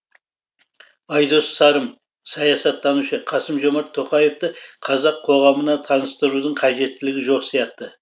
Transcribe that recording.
айдос сарым саясаттанушы қасым жомарт тоқаевты қазақ қоғамына таныстырудың қажеттілігі жоқ сияқты